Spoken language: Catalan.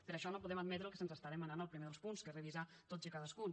per això no podem admetre el que se’ns demana al primer dels punts que és revisar los tots i cadascun